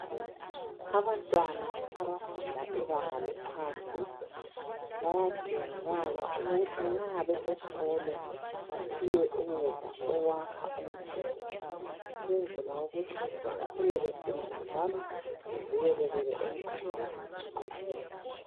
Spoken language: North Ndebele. Abantwana abafunda ibanga lephansi ,bayadingakala ukuthi nxa besesikolo bephiwe ukudla okwakha umzimba .Ukwenzela ukuthi bakhule beqinile njalo bevikelekele emikhuhlane eminengi nengi.